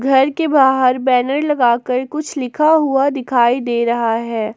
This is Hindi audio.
घर के बाहर बैनर लगाकर कुछ लिखा हुआ दिखाई दे रहा है।